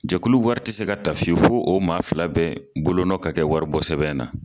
Jakulu wari tɛ se ka ta fiyewu fo o maa fila bɛɛ bolonɔ ka kɛ waribɔsɛbɛn na